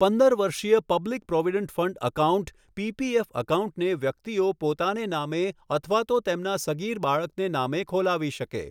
પંદર વર્ષીય public provident fund account PPF એકાઉન્ટને વ્યકિતઓ પોતાને નામે અથવા તો તેમના સગીર બાળકને નામે ખોલાવી શકે.